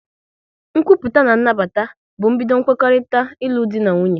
Nkwupụta na nnabata bụ mbido kwekorita ilu dị na nwunye